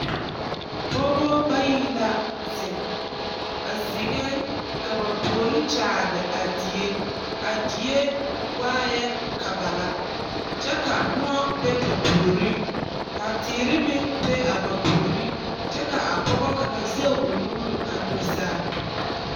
Pɔɔba bayi la zeŋ ba zeŋee ka ba puori kyaare a die a die waa ŋa kaba kyɛ ka moɔ be ba puoriŋ ka teere meŋ be a ba puoriŋ kyɛ ka a pɔgɔ kaŋ sɛge o nuure aŋ do saa